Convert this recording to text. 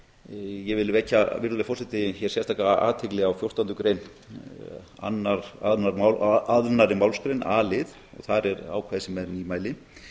útvarpsstöðva ég vil vekja sérstaka athygli á fjórtándu grein annarri málsgreinar a lið þar er ákvæði sem er nýmæli